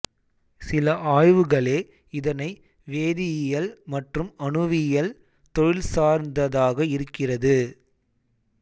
சில ஆய்வுகளே இதனை வேதியியல் மற்றும் அணுவியல் தொழிற்சார்ந்ததாக இருக்கிறது